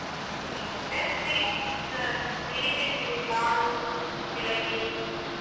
ಹ್ಮ್ ಅದೇ sweets ಸಿಹಿ ತಿಂಡಿ ಲಾಡು ಜಿಲೇಬಿ.